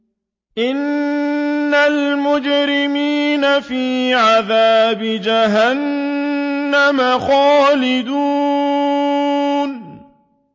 إِنَّ الْمُجْرِمِينَ فِي عَذَابِ جَهَنَّمَ خَالِدُونَ